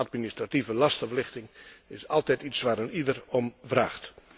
Administratieve lastenverlichting is altijd iets waar eenieder om vraagt.